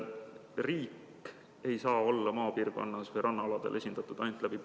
Riik ei saa maapiirkondades, sh rannaaladel olla esindatud ainult PRIA kaudu.